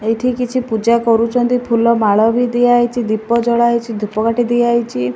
ଏଇଠି କିଛି ପୂଜା କରୁଛନ୍ତି ଫୁଲ ମାଳ ବି ଦିଆ ହେଇଛି ଦୀପ ଜଳା ହେଇଛି ଧୂପକାଠି ଦିଆ ହେଇଛି।